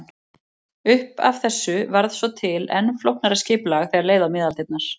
Upp af þessu varð svo til enn flóknara skipulag þegar leið á miðaldirnar.